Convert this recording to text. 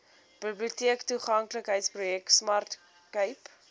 biblioteektoeganklikheidsprojek smart cape